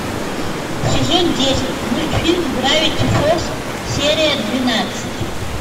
сезон десять мультфильм гравити фолз серия двенадцать